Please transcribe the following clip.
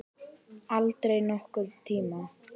Aldrei nokkurn tíma!